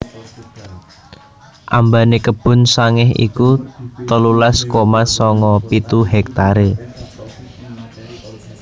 Ambane Kebon Sangeh iku telulas koma sanga pitu hektare